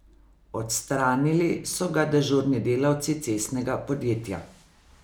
Odstranili so ga dežurni delavci cestnega podjetja.